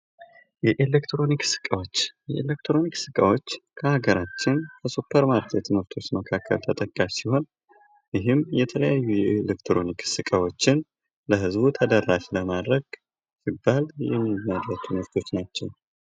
የኤሌክትሮኒክስ እቃዎች የኤሌክትሮኒክስ እቃዎች በሀገራችን ከሱፐር ማርኬት ምርቶች መካከል ተጠቃሽ ሲሆን ይህም የተለያዩ የኤሌክትሮኒክስ እቃዎችን ለህዝቡ ተደራሽ ለማድረግ ሲባል የምናመርታቸው ናቸው።